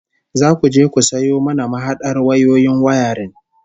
Zaku je ku sayo mana mahadar wayoyin wayarin